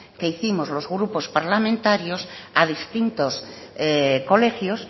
que hicimos los grupos parlamentarios a distintos colegios